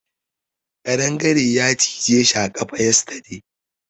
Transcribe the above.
Kadangare ya cije shi a kafa yesterday.